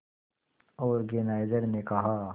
organiser ने कहा